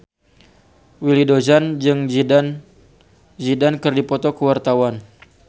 Willy Dozan jeung Zidane Zidane keur dipoto ku wartawan